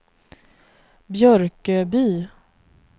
Björköby